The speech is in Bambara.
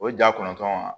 O ja kɔnɔntɔn